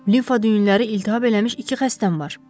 Limfa düyünləri iltihab eləmiş iki xəstəm var.